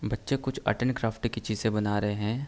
बच्चे कुछ art and craft की चीजें बना रहे हैं।